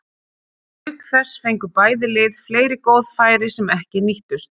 Auk þess fengu bæði lið fleiri góð færi sem ekki nýttust.